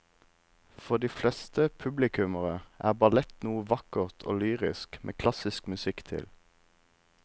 For de fleste publikummere er ballett noe vakkert og lyrisk med klassisk musikk til.